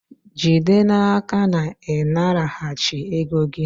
jide n'aka na ị naraghachi ego gị!